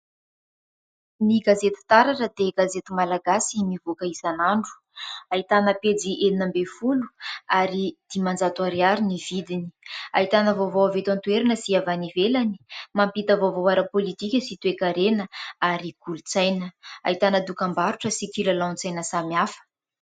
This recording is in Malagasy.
Ny " gazety taratra " dia gazety malagasy mivoaka isan'andro ahitana pejy enina amby folo ary dimanjato ariary ny vidiny ahitana vaovao avy eto an-toerana sy avy any ivelany mampita vaovao ara-politika sy toe-karena ary kolontsaina, ahitana dokam-barotra sy kilalaon-tsaina samy hafa.